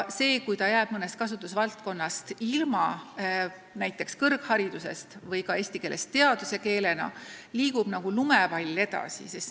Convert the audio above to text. Kui ta jääb mõnest kasutusvaldkonnast ilma, lakkab olemast kõrghariduse või ka teaduskeel, siis kasvab see tendents nagu lumepall.